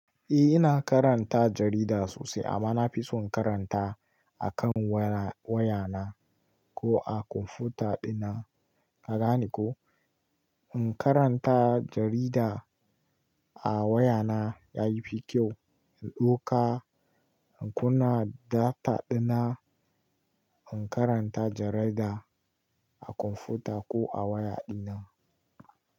Eh, ina karanta jarida sosai amma na fi so in karanta a kan waya na ko a kwamfuta dina. Ka gane ko? In karanta jarida a waya na yafi kyau in ɗauka inkunna data dina. In karanta jarida a kwamfuta ko a waya dina.